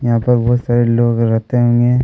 यहाँ पर बहुत सारे लोग रहते होंगे।